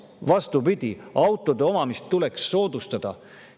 Nii et vastupidi, autode omamist tuleks soodustada.